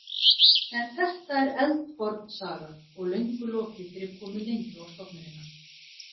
En þetta er eldforn saga og löngu lokið fyrir komu Lindu á stofnunina.